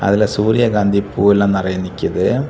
அதுல சூரியகாந்தி பூ எல்லா நிறைய நிக்குது.